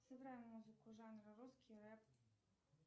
сыграй музыку жанра русский рэп